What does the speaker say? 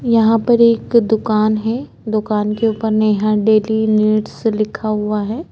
यहाँ पर एक दुकान है दुकान के ऊपर में डेली नीड्स लिखा हुआ है।